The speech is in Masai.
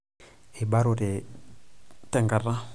Eibarote tenkata .